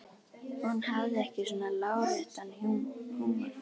Hún hafði ekki svona láréttan húmor.